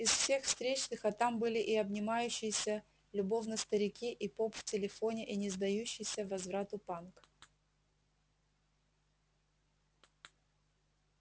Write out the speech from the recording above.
из всех встречных а там были и обнимающиеся любовно старики и поп в телефоне и не сдающийся возрасту панк